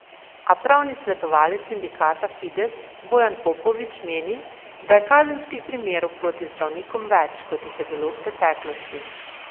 A pravni svetovalec sindikata Fides Bojan Popovič meni, da je kazenskih primerov proti zdravnikom več, kot jih je bilo v preteklosti.